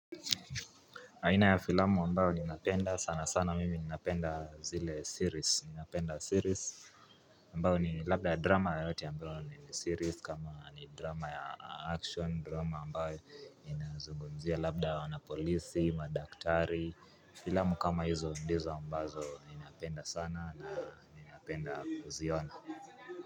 Aina ya filamu ambayo ninapenda sana sana mimi ninapenda zile series napenda series ambayo ni labda ya drama yoyote ambayo ni series kama ni drama ya action drama ambayo inazugumzia labda ya wanapolisi, madaktari filamu kama hizo ndizo ambazo ninapenda sana na ninapenda kuziona.